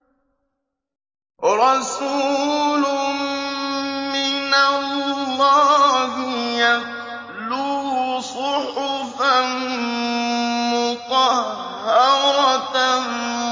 رَسُولٌ مِّنَ اللَّهِ يَتْلُو صُحُفًا مُّطَهَّرَةً